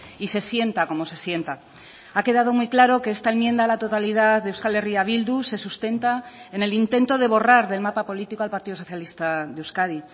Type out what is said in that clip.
y se sienta como se sienta ha quedado muy claro que esta enmienda a la totalidad de euskal herria bildu se sustenta en el intento de borrar del mapa político al partido socialista de euskadi